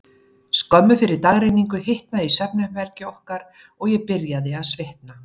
Skömmu fyrir dagrenningu hitnaði í svefnherbergi okkar, og ég byrjaði að svitna.